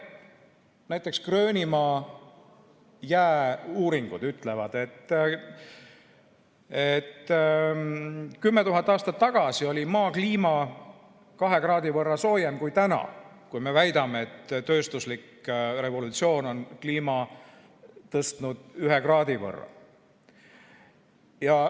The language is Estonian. Näiteks, Gröönimaa jää uuringud ütlevad, et 10 000 aastat tagasi oli Maa kliima 2 kraadi võrra soojem kui täna, kui me väidame, et tööstuslik revolutsioon on temperatuuri tõstnud 1 kraadi võrra.